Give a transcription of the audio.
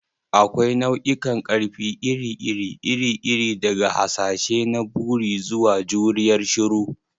Akwai nau'ikan ƙarfi iri-iri iri-iri, daga hasashe na buri zuwa juriyar shiru.